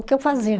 O que eu fazia.